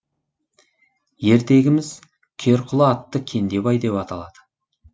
ертегіміз керқұла атты кендебай деп аталады